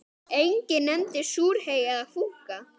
Enginn nefndi súrhey eða fúkka.